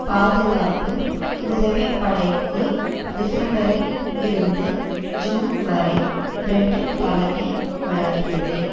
பாதுகாப்பு உதவி படைக்கு டிசம்பரில் இருந்து ஜூன் வரை பிரிட்டன் தலைமை வழங்கியது